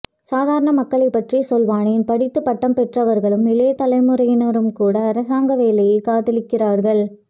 சாதாரண மக்களை பற்றி சொல்வானேன் படித்து பட்டம் பெற்றவர்களும் இளையத்தலைமுறையினரும் கூட அரசாங்க வேலையை காதலிக்கிறார்கள்